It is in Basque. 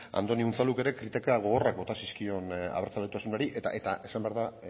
andoni unzaluk ere kritika gogorrak bota zizkion abertzaletasunari eta esan behar da